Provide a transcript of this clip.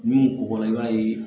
N'u kɔgɔra i b'a ye